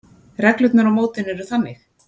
Reglurnar á mótinu eru þannig: